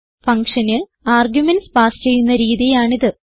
ഫങ്ഷന് arguments pass ചെയ്യുന്ന രീതിയാണിത്